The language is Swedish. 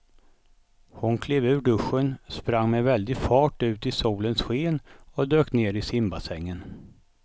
Hon klev ur duschen, sprang med väldig fart ut i solens sken och dök ner i simbassängen.